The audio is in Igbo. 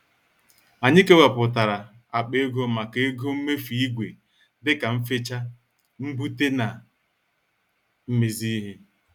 Anyị kewaputara akpa ego maka ego mmefu ìgwè dịka mfecha ,mbute na mmezi ihe.